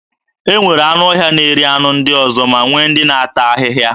E nwere anụọhịa na-eri anụ ndị ọzọ ma nwee ndị na-ata ahịhịa.